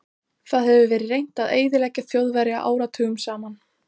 Það hefur verið reynt að eyðileggja Þjóðverja áratugum saman.